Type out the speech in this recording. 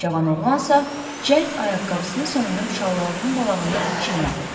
Cavan oğlansa cəld ayaqqabısını soyunub şalvarının balağını çirmədi.